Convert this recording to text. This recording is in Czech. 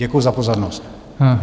Děkuji za pozornost.